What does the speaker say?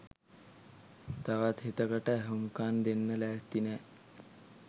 තවත් හිතකට ඇහුම්කන් දෙන්න ලෑස්ති නෑ.